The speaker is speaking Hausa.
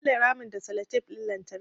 Na ƙule ramin da sellotape ɗin lantarki